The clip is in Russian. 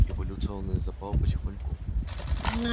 революционный запал потихоньку